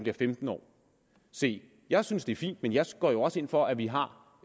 er femten år se jeg synes det er fint men jeg går jo også ind for at vi har